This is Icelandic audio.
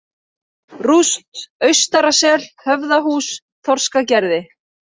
Rúst, Austarasel, Höfðahús, Þorskagerði